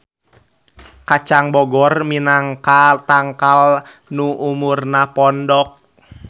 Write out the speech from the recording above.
Kacang bogor minangka tangkal nu umurna pondok.